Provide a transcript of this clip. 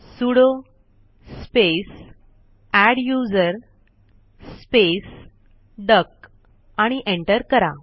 sudo space adduser space duck आणि enter करा